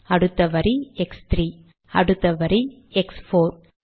அடுத்த வரி எக்ஸ்3 அடுத்த வரி எக்ஸ்4